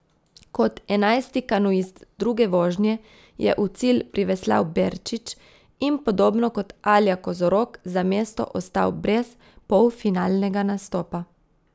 Kot enajsti kanuist druge vožnje je v cilj priveslal Berčič in podobno kot Alja Kozorog za mesto ostal brez polfinalnega nastopa.